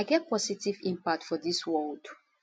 i get positive impact for dis world